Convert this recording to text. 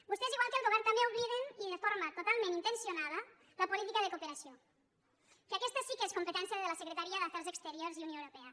vostès igual que el govern també obliden i de forma totalment intencionada la política de cooperació que aquesta sí que és competència de la secretaria d’afers exteriors i unió europea